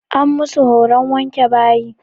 An musu horon wanke bayi.